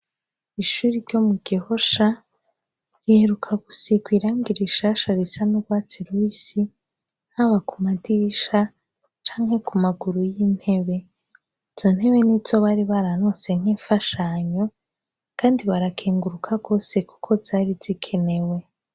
Ishuri ryo mu gehosha ryeruka gusikwairangira ishasha zica n'urwatsi rusi haba ku madisha canke ku maguru y'intebe zo ntebe ni zo bari baranose nk'imfashanyo, kandi barakenguruka rwose, kuko zari zikenewe.